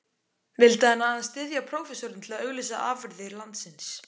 Vildi hann aðeins styðja prófessorinn til að auglýsa afurðir landsins?